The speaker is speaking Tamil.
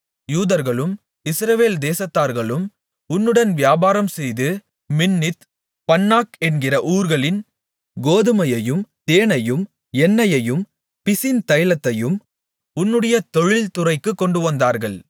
யூதர்களும் இஸ்ரவேல் தேசத்தார்களும் உன்னுடன் வியாபாரம்செய்து மின்னித் பன்னாக் என்கிற ஊர்களின் கோதுமையையும் தேனையும் எண்ணெயையும் பிசின்தைலத்தையும் உன்னுடைய தொழில்துறைக்குக் கொண்டுவந்தார்கள்